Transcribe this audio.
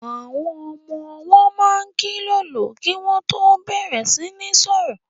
Àwọn ọmọ-ọwọ́ máa kílòlò kí wọ́n tó bẹ̀rẹ̀ sí ní sọ̀rọ̀